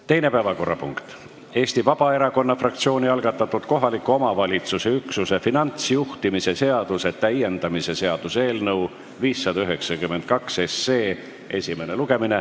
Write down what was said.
Teine päevakorrapunkt on Eesti Vabaerakonna fraktsiooni algatatud kohaliku omavalitsuse üksuse finantsjuhtimise seaduse täiendamise seaduse eelnõu 592 esimene lugemine.